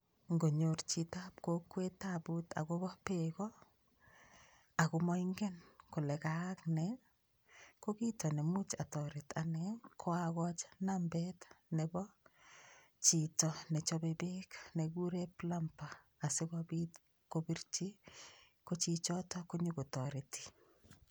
Ngonyor chitab kokwet taput akobo peko, ako moingen kole kaak nee, ko kito nemuch atoret ane ko akochi nambet nebo chito ne chope peek nekikure plumber asi kobit kobirchi, ko chichoto ko nyo kotoreti.